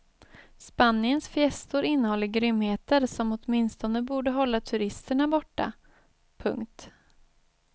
Spaniens fiestor innehåller grymheter som åtminstone borde hålla turisterna borta. punkt